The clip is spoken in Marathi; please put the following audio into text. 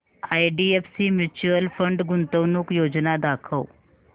आयडीएफसी म्यूचुअल फंड गुंतवणूक योजना दाखव